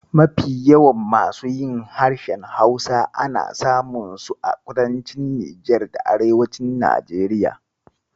Mafi yawan masu yin harshen Hausa ana samun su a kudancin Nijar da arewacin Najeriya.